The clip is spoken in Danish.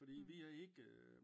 Fordi vi har ikke øh